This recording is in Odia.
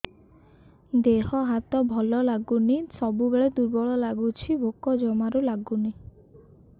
ଦେହ ହାତ ଭଲ ଲାଗୁନି ସବୁବେଳେ ଦୁର୍ବଳ ଲାଗୁଛି ଭୋକ ଜମାରୁ ଲାଗୁନି